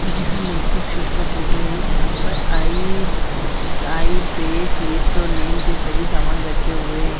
यहाँ makeup show का photo है यहाँ पर आईज मं आईज फेस लिप्स और नेल के सभी सामान रखे हुए--